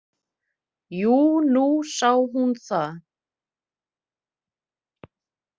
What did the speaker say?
Jú, nú sá hún það.